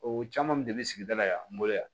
O caman de bɛ sigida la yan n bolo yan